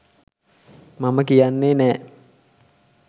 මම කියන්නේ නෑ.